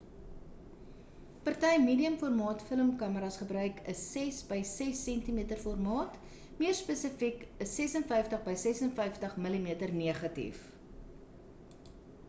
party medium-formaat film kameras gebruik 'n 6 by 6 cm formaat meer spesifiek 'n 56 by 56 mm negatief